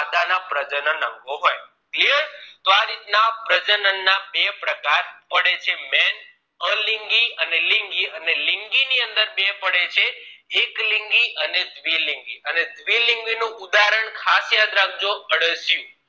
પ્રજનન ના બે પ્રકાર પડે છે main અલિંગી અને લિંગી અને લિંગી અંદર બે પડે છે એક લિંગી અને દ્વિ લિંગી અને દ્વિ લિંગી નું ઉદારણ ખાસ યાદ રાખજો અળસિયું